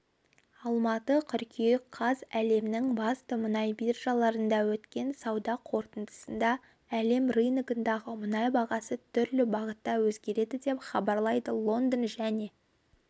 алматы қыркүйек қаз әлемнің басты мұнай биржаларында өткен сауда қортындысында әлем рыногындағы мұнай бағасы түрлі бағытта өзгерді деп хабарлайды лондон және